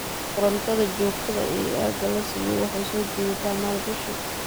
Korontada joogtada ah ee aagga la siiyo waxay soo jiidataa maalgashi.